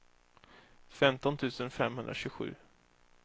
femton tusen femhundratjugosju